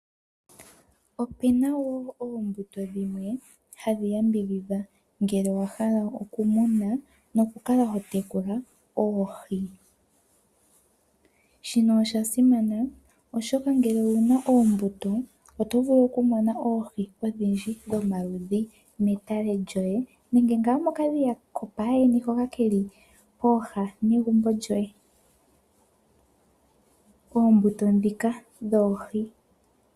Opena wo oombuto dhimwe hadhi yambidhidha ngele owa hala okumuna, nokukala ho tekula oohi. Shino osha simana oshoka ngele owuna oombuto oto vulu okumona oohi odhindji dhomaludhi metale lyoye, nenge ngaa mokadhiya kopayeni hoka keli pooha negumbo lyoye oombuto dhika yoohi.